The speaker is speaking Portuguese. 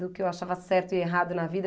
Do que eu achava certo e errado na vida.